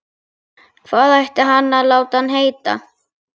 Hvað ætti hann að láta hann heita?